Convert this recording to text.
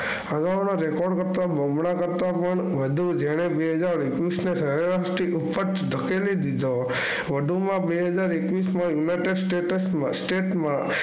હવામાનના Record કરતાં બમણા કરતાં પણ વધુ જેણે બે હજાર એકવીસને સરેરાશથી ખૂબ જ ધકેલી દીધો. વધુમાં બે હજાર એકવીસમાં યુનાઈટેડ સ્ટેટ્સમાં સ્ટેટમાં